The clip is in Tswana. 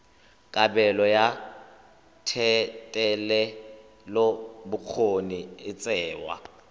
kabelo ya thetelelobokgoni e tsewa